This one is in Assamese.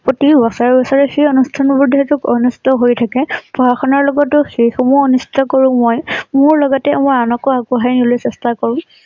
প্ৰতি বছৰে বছৰে সেই অনুষ্ঠান বোৰ যিহেতু অনুষ্ঠিত হৈয়ে থাকে । পঢ়া শুনাৰ লগতে সেই সমূহ কৰোঁ মই । মোৰ লগতে মই আনকো আগবঢ়াই নিবলৈ চেষ্টা কৰোঁ